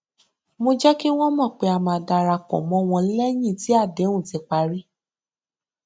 mo jẹ kí wọn mọ pé a máa darapọ mọ wọn lẹyìn tí àdéhùn ti parí